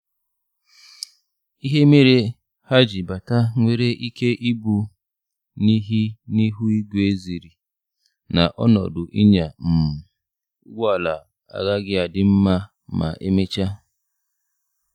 Ihe mere ha ji bata nwere ike ịbụ n'ihi n'ihu ígwē ziri na ọnọdụ ịnya um ụgbọ ala agaghị adị nma ma emecha